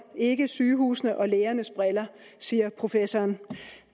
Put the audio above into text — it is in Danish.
ikke sygehusenes og lægernes briller siger professoren